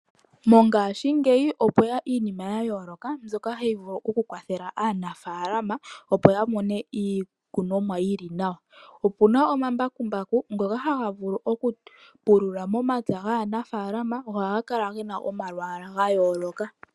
Mongaashingeyi opwe ya iinima ya yooloka, mbyoka ha yi vulu oku kwathela aanafaalama, opo ya kune iikunomwa yi li nawa . Opu na omambakumbaku, ngoka ha ga vulu oku pulula momapya gaanafaalama, go oha ga kala ge na omalwaala ga yooloka.